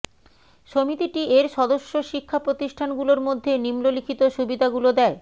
সমিতিটি এর সদস্য শিক্ষা প্রতিষ্ঠানগুলোর মধ্যে নিম্নলিখিত সুবিধাগুলো দেয়ঃ